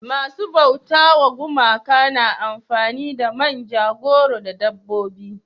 masu bauta wa gumaka na amfani da manja goro da dabbobi